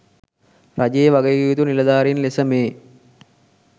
රජයේ වගකිවයුතු නිලධාරීන් ලෙස මේ